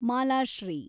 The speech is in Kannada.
ಮಾಲಾಶ್ರೀ